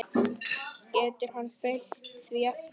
Getur hann fylgt því eftir?